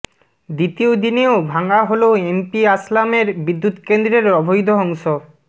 দ্বিতীয় দিনেও ভাঙা হলো এমপি আসলামের বিদ্যুৎকেন্দ্রের অবৈধ অংশ